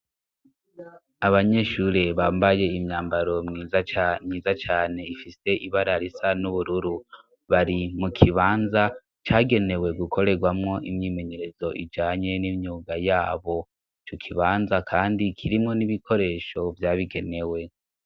Abanyeshure bambaye imyambaro myiza cane ifise ibarara isa n'ubururu bari mu kibanza cagenewe gukorerwamwo imyimenyerezo ijanye n'imyuga yabo co ukibanza, kandi kirimwo n'ibikoresho vyabigenewe.